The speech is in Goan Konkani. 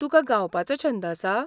तुकां गावपाचो छंद आसा?